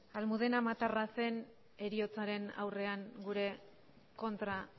almudena matarranzen heriotzaren aurrean gure kontra